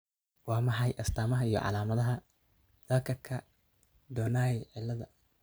Waa maxay astamaha iyo calaamadaha Thakkerka Donnai cilada?